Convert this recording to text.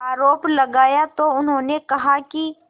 आरोप लगाया तो उन्होंने कहा कि